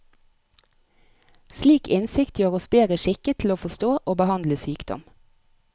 Slik innsikt gjør oss bedre skikket til å forstå og behandle sykdom.